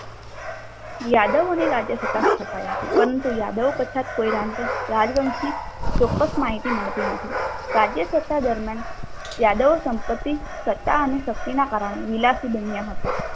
યાદવોની રાજ સત્તા સ્થપાઈ હતી. પરંતુ યાદવ પછાત કોઈ રાજવંશી ચોક્સસ માહિતી મળતી નથી. રાજ્યસત્તા દરમિયાન યાદવો સંપત્તિ સત્તા અને શક્તિના કારણે વિલાસી બન્યા હતા.